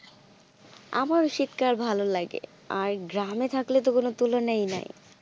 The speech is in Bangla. আমার তো শীতকাল আমার ও শীতকাল ভালো লাগে, আর গ্রামে থাকলে তো কোনো তুলনায় নাই.